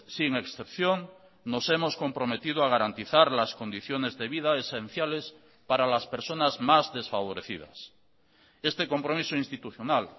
sin excepción nos hemos comprometido a garantizar las condiciones de vida esenciales para las personas más desfavorecidas este compromiso institucional